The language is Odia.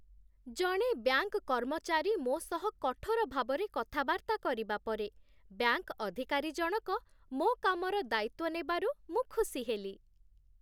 ଜଣେ ବ୍ୟାଙ୍କ କର୍ମଚାରୀ ମୋ ସହ କଠୋର ଭାବରେ କଥାବାର୍ତ୍ତା କରିବା ପରେ, ବ୍ୟାଙ୍କ ଅଧିକାରୀ ଜଣକ ମୋ କାମର ଦାୟିତ୍ୱ ନେବାରୁ ମୁଁ ଖୁସି ହେଲି।